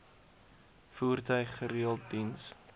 voertuig gereeld diens